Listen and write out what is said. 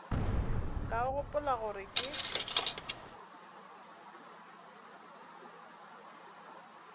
ka o gopola gore ke